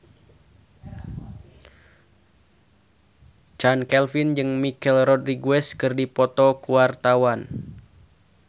Chand Kelvin jeung Michelle Rodriguez keur dipoto ku wartawan